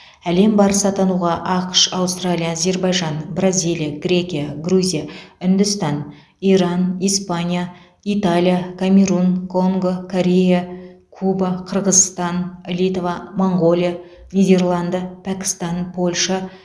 әлем барысы атануға ақш аустралия әзербайжан бразилия грекия грузия үндістан иран испания италия камерун конго корея куба қырғызстан литва моңғолия нидерланды пәкістан польша